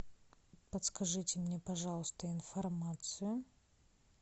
подскажите мне пожалуйста информацию